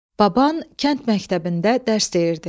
Baban kənd məktəbində dərs deyirdi.